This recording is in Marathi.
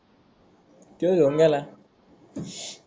त्यो घेऊन गेला.